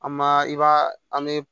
An ma i b'a an bɛ